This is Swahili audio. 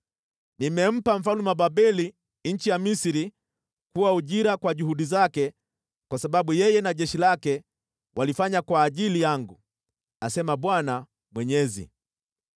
Nimempa mfalme wa Babeli nchi ya Misri kuwa ujira kwa juhudi zake kwa sababu yeye na jeshi lake walifanya kwa ajili yangu, asema Bwana Mwenyezi.